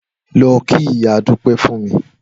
Lọ kí ìyá Dúpẹ́ fún mi!